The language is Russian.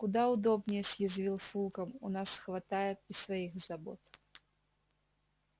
куда удобнее съязвил фулкам у нас хватает и своих забот